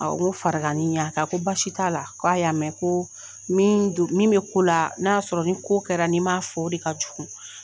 A n ko farankanni y'a kan ko basi t'ala k'a y'a mɛn ko min do min be k'ola n'a y'a sɔrɔ ni ko kɛla ni m'a fɔ de ka jugu